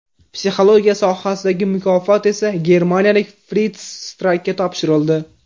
Psixologiya sohasidagi mukofot esa germaniyalik Frits Strakka topshirildi.